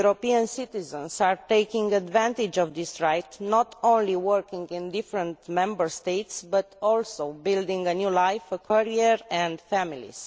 European citizens are taking advantage of this right, not only working in different Member States, but also building a new life, career, and families.